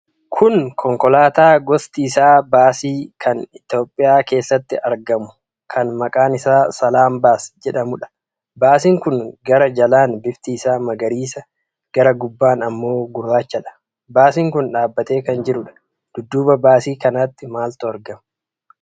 Kun konkolaataa gosti isaa baasii kan toophiyaa keessatti argamu, kan maqaan isaa "Salaam Bus" jedhamuudha. Baasiin kun gara jalaan bifti isaa magariisa. gara gubbaan ammoo gurrachadha. Baasiin kun dhaabatee kan jiruudha. Dudduuba baasii kanaatti maaltu argama?